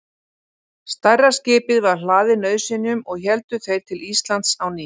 Stærra skipið var hlaðið nauðsynjum og héldu þeir til Íslands á ný.